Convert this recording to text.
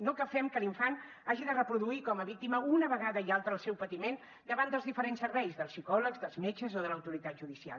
no que fem que l’infant hagi de reproduir com a víctima una vegada i altra el seu patiment davant dels diferents serveis dels psicòlegs dels metges o de l’autoritat judicial